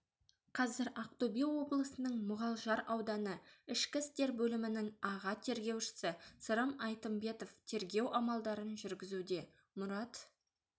қазір ақтөбе облысының мұғалжар ауданы ішкі істер бөлімінің аға тергеушісі сырым айтымбетов тергеу амалдарын жүргізуде мұрат